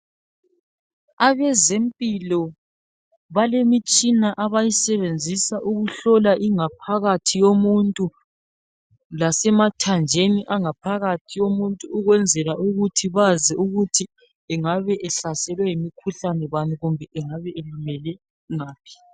Abezempilo balemitshina abayisebenzisa ukuhlola ingaphakathi yomuntu lasemathanjeni angaphakathi yomuntu ukwenzela ukuthi bazi ukuthi engabe ehlaselwe yimikhuhlane bani kumbe engabe elimele ngaphi.